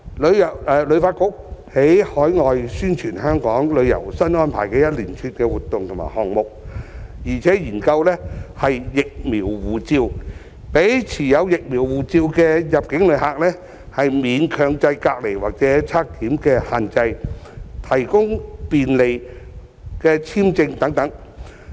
旅發局在海外宣傳香港旅遊新安排的一連串活動和項目，並且研究"疫苗護照"，讓持有"疫苗護照"的入境旅客免強制隔離或檢測限制，提供便利的簽證等。